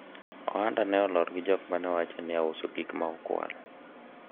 ohanda ne olor gi jok manewacho ni auso gik ma okwal